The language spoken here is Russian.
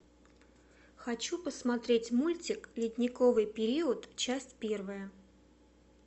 хочу посмотреть мультик ледниковый период часть первая